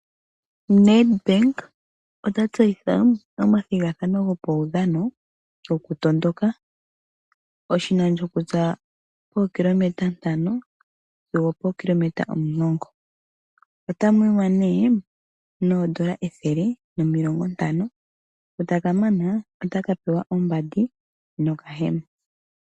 NEDBANK ota tseyitha omathigathano gopaudhano goku tondoka . Oshinano shokuza pokilometa ntano sigo pokilometa omulongo. Otamu yiwa nee noondola ethele nomilongo ntano . Ngu takamana otaka pewa ombandi nokahema.